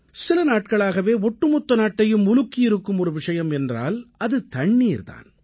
சில நாட்களாகவே ஒட்டுமொத்த நாட்டையும் உலுக்கியிருக்கும் ஒரு விஷயம் என்றால் அது தண்ணீர் தான்